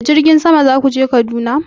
Da jirgin sama za ku je Kaduna?